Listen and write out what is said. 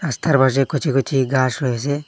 রাস্তার পাশে কচি কচি গাস রয়েসে।